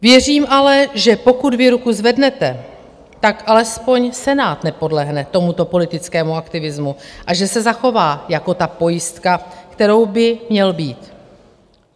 Věřím ale, že pokud vy ruku zvednete, tak alespoň Senát nepodlehne tomuto politickému aktivismu a že se zachová jako ta pojistka, kterou by měl být.